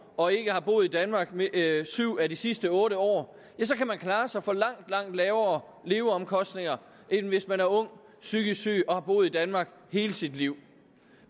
og ikke har boet i danmark syv af de sidste otte år kan man klare sig for langt langt lavere leveomkostninger end hvis man er ung psykisk syge og har boet i danmark hele sit liv